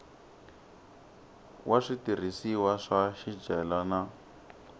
wa switirhisiwa swa swicelwa na